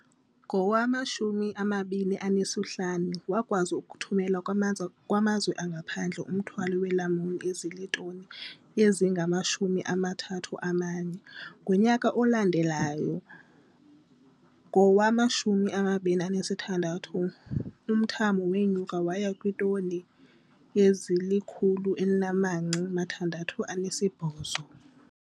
Ngowama-2015, wakwazi ukuthumela kwamanzi kwamazwe angaphandle umthwalo weelamuni ozitoni ezingama-31. Ngonyaka olandelayo, ngowama-2016, umthamo wenyuka waya kutsho kwiitoni ezili-168.